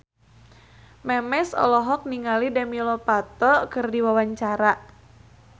Memes olohok ningali Demi Lovato keur diwawancara